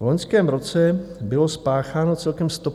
V loňském roce bylo spácháno celkem 150 vražd.